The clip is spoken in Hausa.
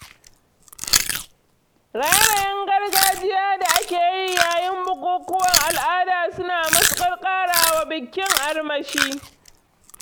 Raye-rayen gargajiya da ake yi yayin bukukuwan al'ada suna matuƙar ƙarawa bikin armashi